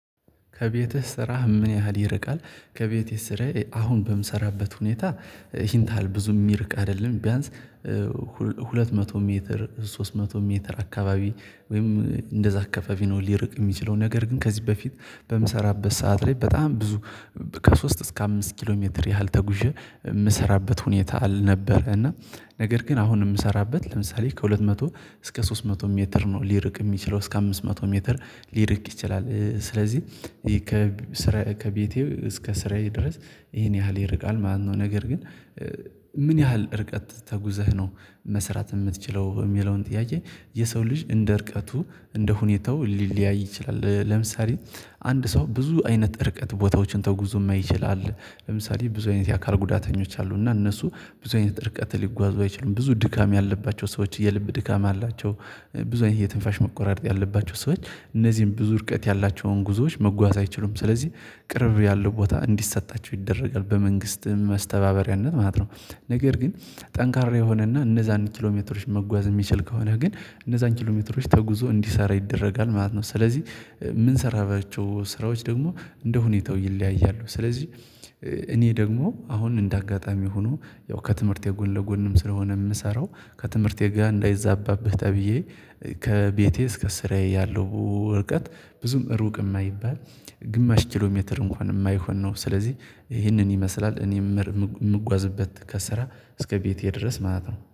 ከቤትህ ስራህ ምን ያህል ይርቃል? ከቤትህ ስራየ አሁን በምሰራበት ሁኔታ ሂንታል ብዙ የሚርቅ ቢያንስ ሁለት መቶ ሜትር ሶስት መቶ ሜትር አካባቢ ወይም እንደዛ አካባቢ ነው። ሊርቅ የሚችለው ነገር ግን ከዚህ በፊት በምሰራበት ሰዓት ላይ በጣም ብዙ ከሶስት እስከ አምስት ኪሎ ሜትር ያህል ተጉዠ የምሰራበት ሁኔታ ነበረ። እና ነገር ግን አሁን የምሰራበት ለምሳሌ ከሁለት መቶ እስከ ሶስት መቶ ሜትር ነው ሊርቅ የሚችለው እስከ አምስት መቶ ሜትር ሊርቅ ይችላል። ስለዚህ ከቤቴ እስከ ስራዬ ድረስ ይሄን ያህል ይርቃል ማለተ ነው። ነገር ግን ምን ያህል እርቀት ተጉዘህ ነው? መስራት የምትችለው የሚለውን ጥያቄ የሰው ልጅ እንደ እርቀቱ እንደ ሁኔታው ሊለያይ ይችላል። ለምሳሌ አንድ ሰው ብዙ አይነት እርቀት ቦታዎችን ተጉዞ ይችላል ለምሳሌ ብዙ አይነት የአካል ጉዳተኞች አሉና እነሱ ብዙ አይነት ርቀት ሊጓዙ አይችሉም። ብዙ ድካም ያለባቸው ሰዎች የልብ ድካም አላቸው። ብዙ አይነት የትንፋሽ መቆራረጥ ያለባቸው ሰዎች እነዚህን ብዙ እርቀት ያላቸውን ጉዞዎች መጓዝ አይችሉም። ስለዚህ ቅርብ ያለው ቦታ እንዲሰጣቸው ይደረጋል በመንግስትም መስተባበሪያነት ማለት ነው። ነገር ግን ጠንካራ የሆነና እነዛን ኪሎሜትሮች መጓዝ የሚችል ከሆነ ግን እነዛን ኪሎሜትሮች ተጉዞ እንዲሰራ ይደረጋል ማለት ነው። ስለዚህ ምንሰራባቸው ስራዎች ደግሞ እንደ ሁኔታው ይለያያሉ። ስለዚህ እኔ ደግሞ አሁን እንደ አጋጣሚ ሆኖ ያው ከትምህርት የጎን ለጎንም ስለሆነ የምሰራው። ከትምህርት የጋ ላይ እንዳይዛባብህ ተብዬ ከቤቴ እስከ ስራዬ ያለው ወርቀት ብዙም ሩቅ የማይባል ግማሽ ኪሎ ሜትር እንኳን የማይሆን ነው። ስለዚህ ይህንን ይመስላል እኔም የምጓዝበት ከሰራ እስከ ቤቴ ድረስ ማለት ነው